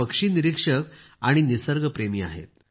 ते पक्षी निरीक्षक आणि निसर्ग प्रेमी आहेत